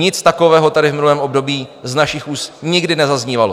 Nic takového tady v minulém období z našich úst nikdy nezaznívalo.